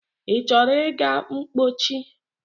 I chọrọ ịga mpochi?